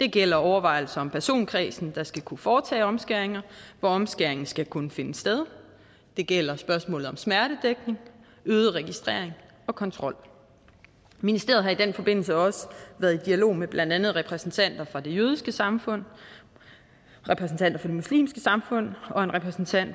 det gælder overvejelser om personkredsen der skal kunne foretage omskæringer hvor omskæringen skal kunne finde sted det gælder spørgsmålet om smertedækning øget registrering og kontrol ministeriet har i den forbindelse også været i dialog med blandt andet repræsentanter for det jødiske samfund repræsentanter for det muslimske samfund og en repræsentant